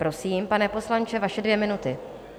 Prosím, pane poslanče, vaše dvě minuty.